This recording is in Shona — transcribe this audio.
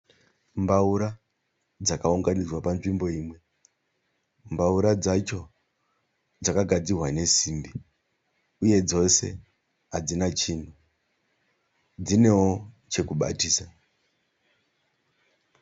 Mbawura dzakaunganidzwa panzvimbo imwe. Mbaura dzacho dzakagadzirwa nesimbi uye dzose hadzina chinhu. Dzinewo chekubatisa.